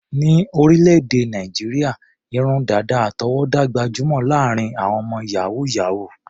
Ní orílẹ̀-èdè Nàìjíríà, irun dàdà àtọwọ́dá gbajúmọ̀ láàárín àwọn ọmọ yàhú-yàhuù.